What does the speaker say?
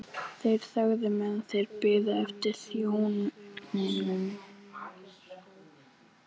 Í september urða ég haustlaukana á sínum stað.